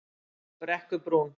Brekkubrún